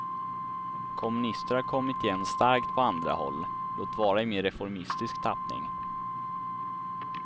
Kommunister har kommit igen starkt på andra håll, låt vara i mera reformistisk tappning.